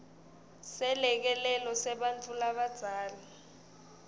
selekelelo sebantfu labadzala